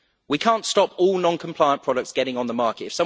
We cannot stop all non compliant products getting on the market.